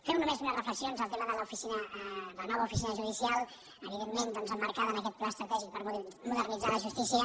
fer només unes reflexions al tema de la nova oficina judicial evidentment doncs emmarcada en aquest pla estratègic per modernitzar la justícia